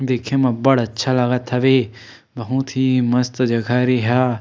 देखे म अब्बड़ अच्छा लागत हवे बहुत ही मस्त जगह हरे ये ह--